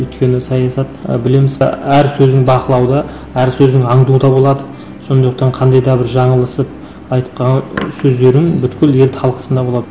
өйткені саясат ы білім әр сөзін бақылауда әр сөзін аңдуда болады сондықтан қандай да бір жаңылысып айтып қалған сөздерін бүкіл ел талқысында болады